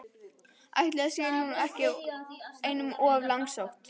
Ætli það sé nú ekki einum of langsótt!